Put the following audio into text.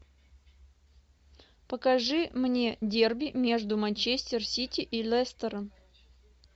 покажи мне дерби между манчестер сити и лестером